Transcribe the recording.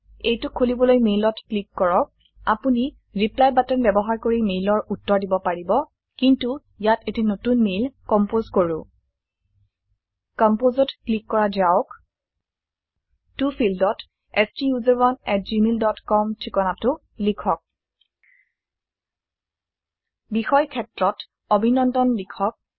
এইটোক খুলিবলৈ মেইলত ক্লিক কৰক আপোনি ৰিপ্লাই বাটন ব্যবহাৰ কৰি মেইলৰ উত্তৰ দিব পাৰি কিন্তু ইয়াত এটি নতুন মেইল কম্পোজ কৰো Composeত ক্লিক কৰা যাওক ত ফিল্ড ত ষ্টাচাৰণে এট জিমেইল ডট কম ঠিকানাটো লিখক বিষয় ক্ষেত্ৰত অভিনন্দন লিখক160